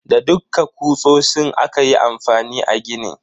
Da dukka kutsotsin aka yi amfani a gini.